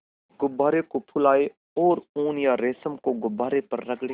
गुब्बारे को फुलाएँ और ऊन या रेशम को गुब्बारे पर रगड़ें